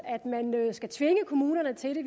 at man skal tvinge kommunerne til det